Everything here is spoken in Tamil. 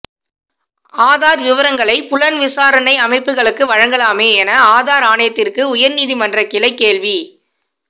ஆதார் விவரங்களை புலன் விசாரணை அமைப்புகளுக்கு வழங்கலாமே என ஆதார் ஆணையத்திற்கு உயர்நீதிமன்ற கிளை கேள்வி